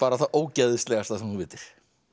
það ógeðslegasta sem þú vitir